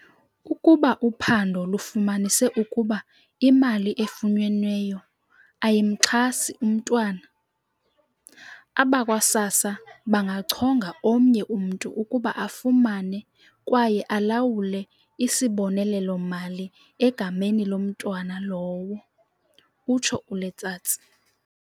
"Ukuba uphando lufumanise ukuba imali efunyenweyo ayimxhasi umntwana, abakwa-SASSA bangachonga omnye umntu ukuba afumane kwaye alawule isibonelelo-mali egameni lomntwana lowo," utsho uLetsatsi.